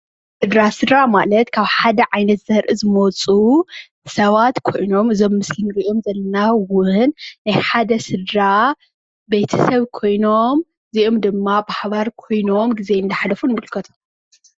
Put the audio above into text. ስድራ :- ስድራ ማለት ካብ ሓደ ዓይነት ዘራኢ ዝመፁ ሰባት ኮይኖም እዞም ምስሊ ንሪኦም ዘለና እዉን ናይ ሓደ ስድራ ብየተሰብ ኮይኖም እዚኦም ድማ በሓባር ኮይኖም ግዜ እንዳሕለፉ ንምልከቶም።